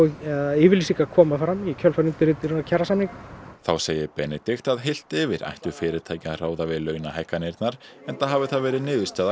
yfirlýsingar koma fram í kjölfar undirritunar kjarasamninga þá segir Benedikt að heilt yfir ættu fyrirtæki að ráða við launahækkanirnar enda hafi það verið niðurstaða